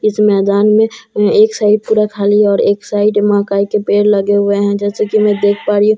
इस मैदान में एक साइड पूरा खाली है और एक साइड महाकाई के पेड़ लगे हुए हैं जैसे कि मैं देख पा रही हूं--